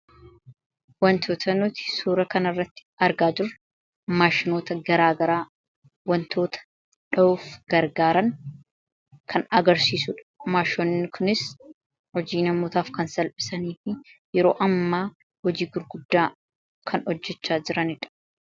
Wantoota nuti suura kana irratti argaa jirru maashinoota garaagaraa wantoota dha'uuf gargaaran kan agarsiisuudha. Maashinoonni kunis hojii namootaaf kan salphisanii fi yeroo amma hojii gurguddaa kan hojjechaa jiraniidha.